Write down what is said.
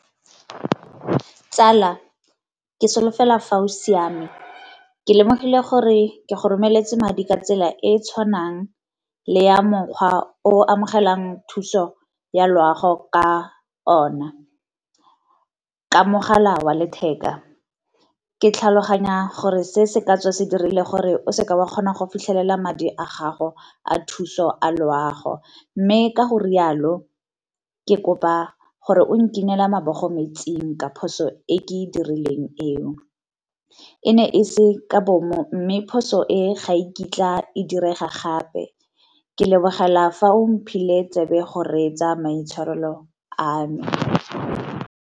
Tsala ke solofela fa o siame, ke lemogile gore ke go romeletse madi ka tsela e e tshwanang le ya mokgwa o amogelang thuso ya loago ka ona. Ka mogala wa letheka, ke tlhaloganya gore se se ka tswa se dirile gore o seka wa kgona go fitlhelela madi a gago a thuso a loago. Mme ka go rialo ke kopa gore o nkinele mabogo mo metsing ka phoso e ke e dirileng eo. E ne e se ka bomo, mme phoso e ga iketla e direga gape ke lebogela fa o mphile tsebe go reetsa maitshwarelo ano.